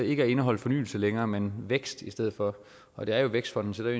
ikke indeholder fornyelse længere men vækst i stedet for og det er jo vækstfonden så det